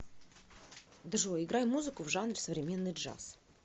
джой играй музыку в жанре современный джаз